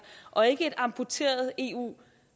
og ikke et amputeret eu